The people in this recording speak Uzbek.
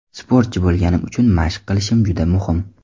Sportchi bo‘lganim uchun mashq qilishim juda muhim.